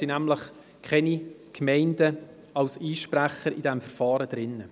Es gibt nämlich keine Gemeinden als Einsprechende in diesem Verfahren.